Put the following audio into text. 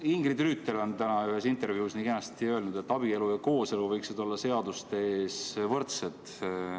Ingrid Rüütel on täna ühes intervjuus nii kenasti öelnud, et abielu ja kooselu võiksid olla seaduste ees võrdsed.